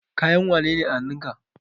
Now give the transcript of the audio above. Kayan wane ne a hanun ka?